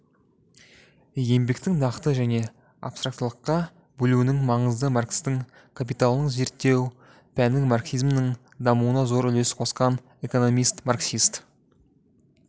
еңбектің нақты және абстрактылыққа бөлінуінің маңызың маркстің капиталының зерттеу пәнін марксизмнің дамуына зор үлес қосқан экономист-марксист